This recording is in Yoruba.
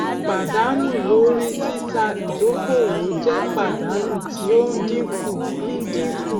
pàdánù lórí títà ìdókòwò jẹ pàdánù tí ó ń dínkù ń dínkù